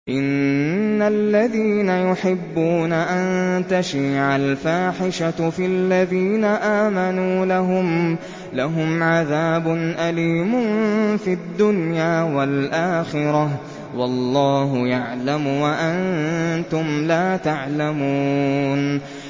إِنَّ الَّذِينَ يُحِبُّونَ أَن تَشِيعَ الْفَاحِشَةُ فِي الَّذِينَ آمَنُوا لَهُمْ عَذَابٌ أَلِيمٌ فِي الدُّنْيَا وَالْآخِرَةِ ۚ وَاللَّهُ يَعْلَمُ وَأَنتُمْ لَا تَعْلَمُونَ